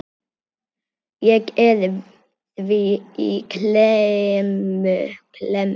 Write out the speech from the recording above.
Ég er því í klemmu.